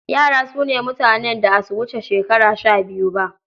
Yara su ne mutanen da a su wuce shekara shabiyu ba.